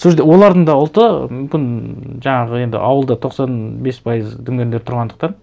сол жерде олардың да ұлты мүмкін жаңағы енді ауылда тоқсан бес пайыз дүнгендер тұрғандықтан